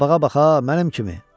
Qabağa baxa mənim kimi.